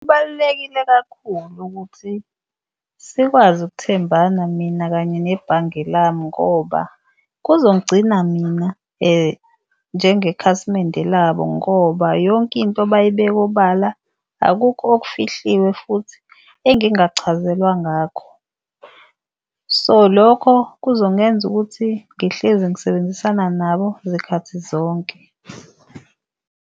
Kubalulekile kakhulu ukuthi sikwazi ukuthembana mina kanye nebhange lami ngoba kuzongigcina mina njengekhasimende labo ngoba yonke into bayibeke obala, akukho okufihliwe futhi engingakuchazelwa ngakho. So, lokho kuzongenza ukuthi ngihlezi ngisebenzisana nabo zikhathi zonke.